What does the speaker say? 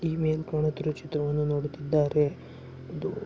TV ನೋಡುತ್ತಿರುವ ಚಿತ್ರವನ್ನು ನೋಡುತ್ತಿದ್ದಾರೆ. ಒಂದು--